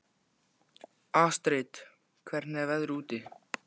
Astrid, hvernig er veðrið úti?